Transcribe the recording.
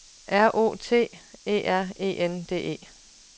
R O T E R E N D E